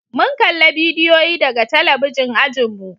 mun kalla bidiyoyi daga talabijin ajinmu